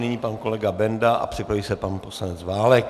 Nyní pan kolega Benda a připraví se pan poslanec Válek.